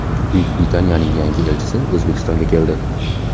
Buyuk Britaniyaning yangi elchisi O‘zbekistonga keldi.